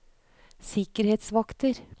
sikkerhetsvakter